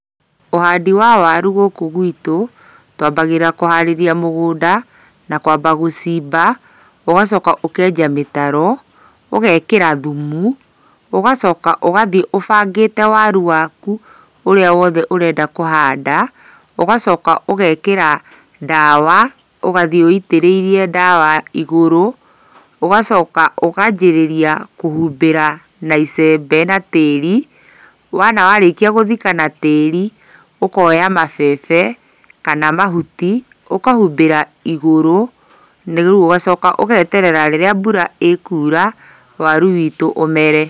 Ũhandi wa waru gũkũ gwitũ, twambagĩrĩria kũharĩria mũgũnda, na kwamba gũcimba, ũgacoka ũkenja mĩtaro, ũgekĩra thumu, ũgacoka ũgathiĩ ũbangĩte waru waku ũrĩa wothe ũrenda kũhanda, ũgacoka ũgekĩra ndawa, ũgathiĩ wĩitĩrĩirie ndawa igũrũ, ũgacoka ũkanjĩrĩria kũhumbĩra na icembe na tĩri, wona warĩkia gũthika na tĩri, ũkoya mabebe kana mahuti, ũkahumbĩra igũrũ, na rĩu ũgacoka ũgeterera rĩrĩa mbura ĩkura waru witũ ũmere.